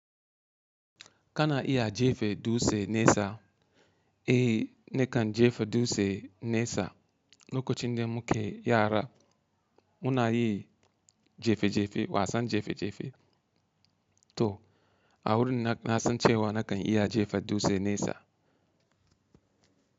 Kana iya jefa dutse nesa, e ni kan jefa dutse nesa, lokaci de muke yara. Muna yi jefe jefe wa san jefe jefe to a wurin na san cewa na kan iya jefa dutse nesa.